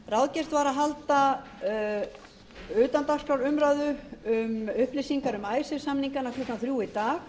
ráðgert var að halda utandagskrárumræðu um upplýsingar um icesave samningana klukkan þriðji í dag